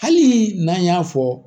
Hali n'an y'a fɔ